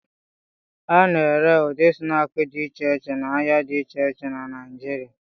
A na-ere ụdị snaakị dị iche iche n'ahịa dị iche iche na Naijiria.